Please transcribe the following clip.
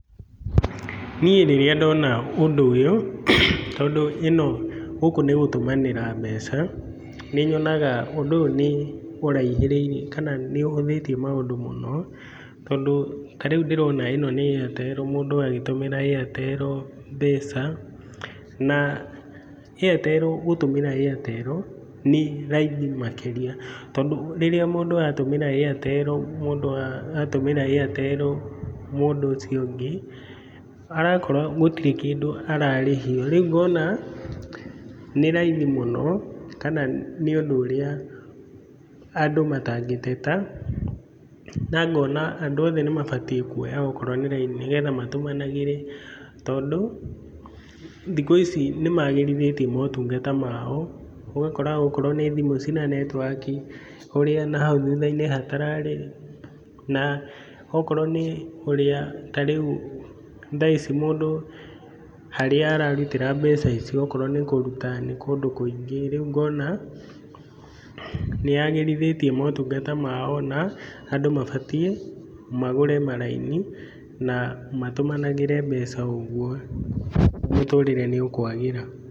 Niĩ rĩrĩa ndona ũndũ ũyũ tondũ ĩno gũkũ nĩ gũtũmanĩra mbeca, nĩ nyonaga ũndũ ũyũ nĩ ũraihĩrĩirie kana nĩ ũhũthĩtie maũndũ mũno. Tondũ ta rĩu ndĩrona ĩno nĩ Airtel mũndũ agĩtũmĩra mbeca. Na Airtel gũtũmĩra Airtel nĩ raithi makĩrĩa tondũ rĩrĩa mũndũ atũmĩra Airtel mũndũ wa atũmĩra Airtel mũndũ ũcio ũngĩ, arakora gũtirĩ kĩndũ ararĩhio. Rĩu ngona nĩ raithi mũno, kana nĩ ũndũ ũrĩa andũ matangĩteta. Na ngona andũ othe nĩ mabatiĩ kuoya okorwo nĩ raini, nĩgetha matũmanagĩre tondũ thikũ ici nĩ maagĩrithĩtie motungata mao. Ũgakora okorwo nĩ thimũ cina netiwaki ũrĩa na hau thutha-inĩ hatararĩ. Na okorwo nĩ ũrĩa ta rĩu mũndũ harĩa aratutĩra mbeca icio okorwo nĩ kũruta nĩ kũndũ kũingĩ. Rĩu ngona nĩ yaagĩrithĩtie motungata mao na andũ mabatiĩ magũre maraini na matũmanagĩre mbeca ũguo, mũtũũrĩre nĩ ũkwagĩra.